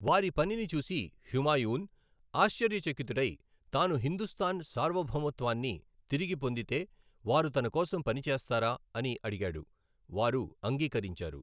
వారి పనిని చూసి హుమాయూన్ ఆశ్చర్యచకితుడై, తాను హిందుస్తాన్ సార్వభౌమత్వాన్ని తిరిగి పొందితే, వారు తన కోసం పనిచేస్తారా అని అడిగాడు, వారు అంగీకరించారు.